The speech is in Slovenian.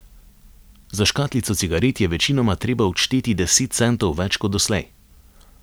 Za škatlico cigaret je večinoma treba odšteti deset centov več kot doslej.